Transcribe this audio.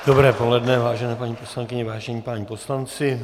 Dobré poledne, vážené paní poslankyně, vážení páni poslanci.